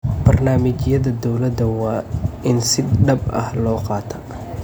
Barnaamijyada dowladda waa in si dhab ah loo qaataa.